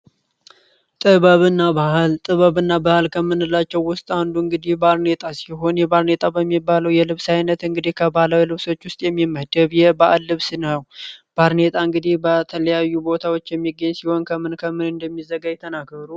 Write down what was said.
ጥዕበብእና ባህል ጥበብ እና ባህል ከምንላቸው ውስጥ አንዱ እንግዲህ ባርኔጣ ሲሆን የባርኔጣ በሚባለው የልብስ ዓይነት እንግዲህ ከባላዊ ልብሶች ውስጥ የሚመህደብየ ባአል ልብስ ነው፡፡ ባርኔጣ እንግዲህ በተለያዩ ቦታዎች የሚገኝ ሲሆን ከምን ከምን እንደሚዘጋ ተናገሩ?